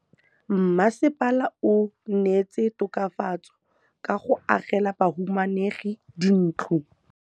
Mmasepala o neetse tokafatsô ka go agela bahumanegi dintlo.